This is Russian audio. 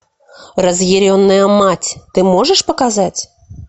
разъяренная мать ты можешь показать